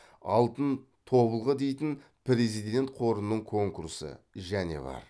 алтын тобылғы дейтін президент қорының конкурсы және бар